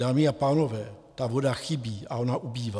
Dámy a pánové, ta voda chybí a ona ubývá.